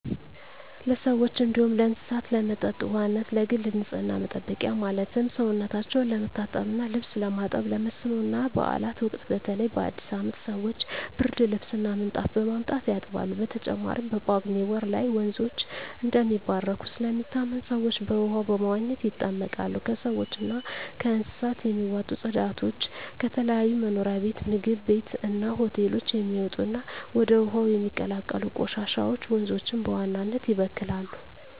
ለሰዎች እንዲሁም ለእስሳት ለመጠጥ ውሃነት፣ ለግል ንፅህና መጠበቂያ ማለትም ሰውነታቸው ለመታጠብ እና ልብስ ለማጠብ፣ ለመስኖ እና ባእላት ወቅት በተለይ በአዲስ አመት ሰወች ብርድልብስ እና ምንጣፍ በማምጣት ያጥባሉ። በተጨማሪም በጳጉሜ ወር ላይ ወንዞች እንደሚባረኩ ስለሚታመን ሰወች በውሃው በመዋኘት ይጠመቃሉ። ከሰውች እና ከእንስሳት የሚወጡ ፅዳጆች፣ ከተለያዩ መኖሪያ ቤት ምግብ ቤት እና ሆቴሎች የሚወጡ እና ወደ ውሀው የሚቀላቀሉ ቆሻሻወች ወንዞችን በዋናነት ይበክላሉ።